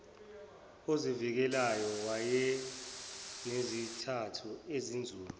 ozivikelayo wayenezizathu ezinzulu